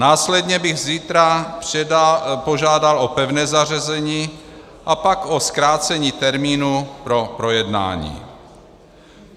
Následně bych zítra požádal o pevné zařazení a pak o zkrácení termínu pro projednání.